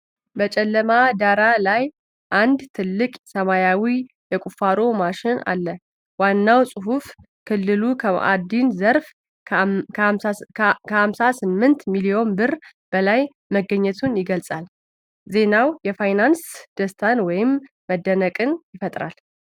በጨለማ ዳራ ላይ አንድ ትልቅ ሰማያዊ የቁፋሮ ማሽን አለ። ዋናው ጽሑፍ ክልሉ ከማእድን ዘርፍ ከአምሳ ስምንት ሚሊየን ብር በላይ መገኘቱ ይገልፃል። ዜናው የፋይናንስ ደስታን ወይም መደነቅን ይፈጥራል።